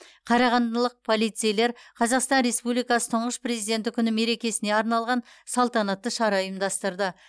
қарағандылық полицейлер қазақстан республикасы тұңғыш президенті күні мерекесіне арналған салтанатты шара ұйымдастырды